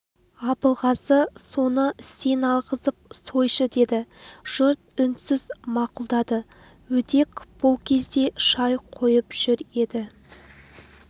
абылғазы соны сен алғызып сойшы деді жұрт үнсіз мақұлдады өдек бұл кезде шай қойып жүр еді